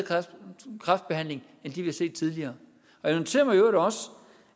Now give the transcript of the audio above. kræftbehandling end vi har set tidligere jeg noterer mig i øvrigt også